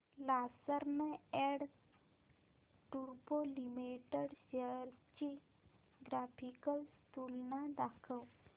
Larsen and टुर्बो limited shares ची graphical तुलना दाखव